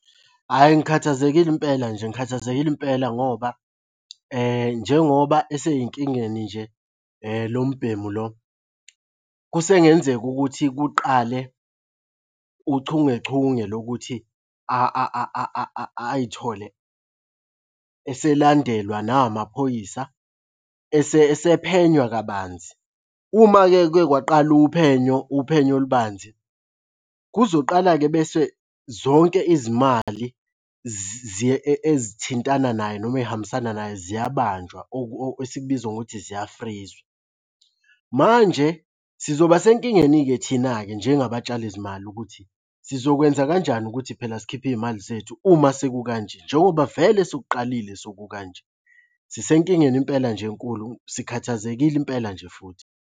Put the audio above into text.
Hhayi ngikhathazekile impela nje ngikhathazekile impela ngoba njengoba esey'nkingeni nje lo mbhemu lo, kusengenzeka ukuthi kuqale uchungechunge lokuthi ayithole eselandelwa na amaphoyisa esephenywa kabanzi. Uma-ke kuye kwaqala uphenyo, uphenyo olubanzi, kuzoqala-ke bese zonke izimali ezithintana naye noma ey'hambisana naye ziyabanjwa esikubiza ngokuthi ziyafrizwa. Manje sizoba senkingeni-ke thina-ke njengabatshali zimali ukuthi sizokwenza kanjani ukuthi phela sikhiphe iy'mali zethu uma sekukanje njengoba vele sekuqalile sekukanje? Sisenkingeni impela nje enkulu sikhathazekile impela nje futhi.